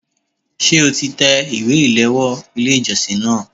Ṣé o ti tẹ ìwé ìléwọ́ Ilé ìjọsìn náà?